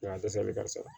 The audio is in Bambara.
dɛsɛli ka ca